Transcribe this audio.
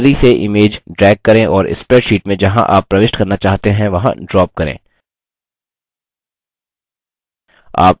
gallery से image drag करें और spreadsheet मे जहाँ आप प्रविष्ट करना चाहते हैं वहाँ drop करें